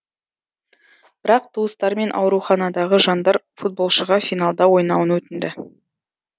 бірақ туыстары мен ауруханадағы жандар футболшыға финалда ойнауын өтінді